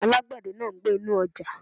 Alágbẹ̀dẹ̀ ń gbẹ́ inú ọjà.